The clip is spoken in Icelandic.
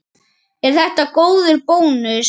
Er þetta góður bónus?